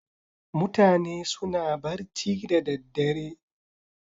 Mutane suna barci da daddare.